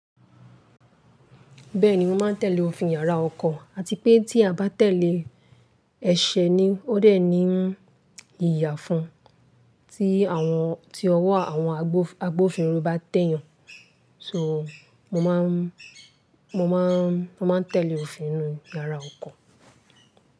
Bẹ́ẹ̀ni, mo máa ń tẹ̀lé òfin yàrá ọkọ̀ àti pé tí a bá tẹ̀lé ẹ̀ṣẹ̀ ni ó dé ni ìyàfun tí àwọn, tí ọwọ́ àwọn agbófinró bá tẹ̀ yàn. So, mo máa ń, mo máa ń, mo máa ń tẹ̀lé òfin inú yàrá ọkọ̀.